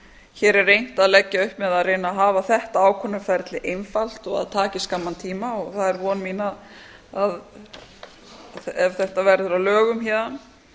hér er reynt að leggja upp með að reyna að hafa þetta ákvörðunarferli einfalt og að það taki skamman tíma það er von mín að ef þetta verður að lögum héðan